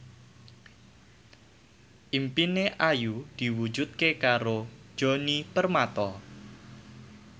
impine Ayu diwujudke karo Djoni Permato